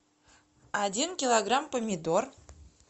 один килограмм помидор